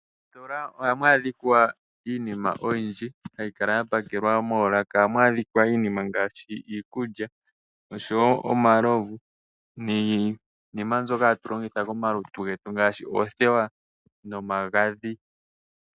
Moositola ohamu adhika iinima oyindji hayi kala ya pakelwa moolaka. Ohamu adhika iinima ngaashi iikulya, oshowo omalovu, niinima mbyoka hatu longitha komalutu getu ngaashi oothewa nomagadhi.